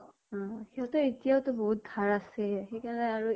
উম । সিহঁতৰ এতিয়াও তো বহুত ধাৰ আছেই । সেইকাৰণে আৰু